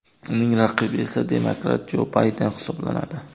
Uning raqibi esa demokrat Jo Bayden hisoblanadi.